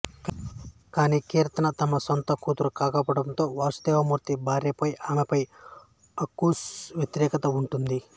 కానీ కీర్తన తమ సొంత కూతురు కాకపోవడంతో వాసుదేవమూర్తి భార్యకు ఆమెపై అక్కసు వ్యతిరేకత ఉంటుంది